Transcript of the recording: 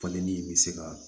Falenli bɛ se ka